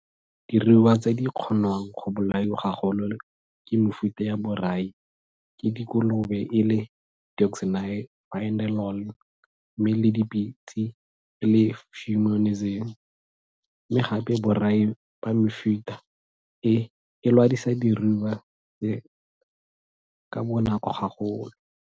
Diruiwa tse di kgonwang go bolaiwa gagolo ke mefuta ya borai ke dikolobe e le deoxynivalenol mme le dipitse e le fumonisin, mme gape borai ba mefuta e e lwadisa diruiwa tse ka bonako gagolo.